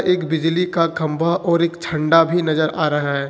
एक बिजली का खंभा और एक झंडा भी नजर आ रहा है।